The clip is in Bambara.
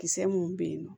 Kisɛ mun be yen nɔ